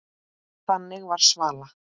Þannig var Svala.